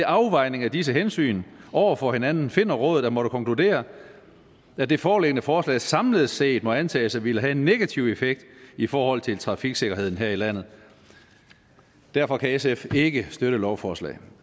afvejning af disse hensyn overfor hinanden finder rådet at måtte konkludere at det foreliggende forslag samlet set må antages at ville have en negativ effekt i forhold til trafiksikkerheden her i landet derfor kan sf ikke støtte lovforslaget